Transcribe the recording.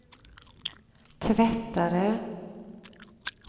tvättare